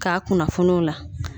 K'a kunnafoni o la.